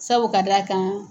Sabu ka d'a kan